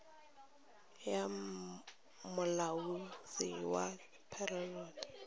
ya molaotheo wa rephaboliki ya